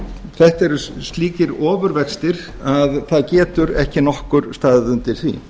þetta eru slíkir ofurvextir að það getur ekki nokkur staðið undir því